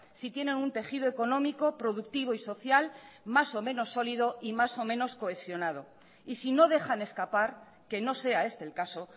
si tienen un tejido económico productivo y social más o menos sólido y más o menos cohesionado y si no dejan escapar que no sea este el caso